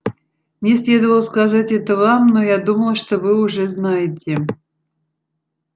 мне следовало сказать это вам но я думал что вы уже знаете